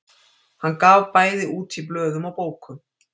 Hann gaf bæði út í blöðum og bókum.